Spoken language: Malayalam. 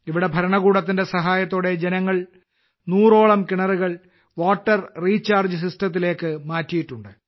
ഇവിടെ ഭരണകൂടത്തിന്റെ സഹായത്തോടെ ജനങ്ങൾ നൂറോളം കിണറുകൾ വാട്ടർ റീചാർജ്ജ് സിസ്റ്റത്തിലേയ്ക്ക് മാറ്റിയിട്ടുണ്ട്